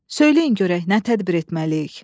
Söyləyin görək nə tədbir etməliyik?